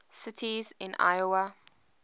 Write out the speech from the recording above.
cities in iowa